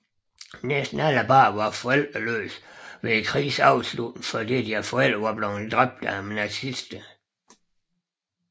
Næsten alle reddede børn var forældreløse ved krigens afslutning fordi deres forældre var dræbt af nazisterne